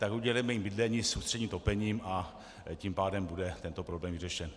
Tak udělejme jim bydlení s ústředním topením, a tím pádem bude tento problém vyřešen.